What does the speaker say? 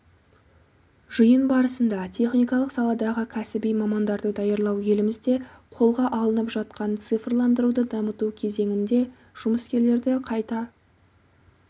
жиын барысында техникалық саладағы кәсіби мамандарды даярлау елімізде қолға алынып жатқан цифрландыруды дамыту кезенінде жұмыскерлерді қайта